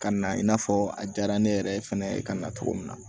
Ka na i n'a fɔ a diyara ne yɛrɛ ye fɛnɛ ka na cogo min na